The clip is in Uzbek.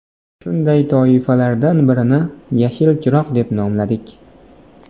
Shunday toifalardan birini ‘Yashil chiroq’ deb nomladik.